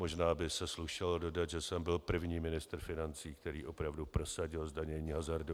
Možná by se slušelo dodat, že jsem byl první ministr financí, který opravdu prosadil zdanění hazardu.